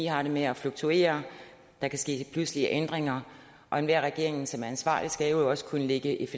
har det med at fluktuere der kan ske pludselige ændringer og enhver regering som er ansvarlig skal jo også kunne lægge et